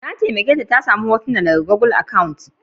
Na taimake ta samu hotunan daga gugul akant.